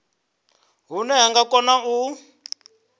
hune vha nga kona u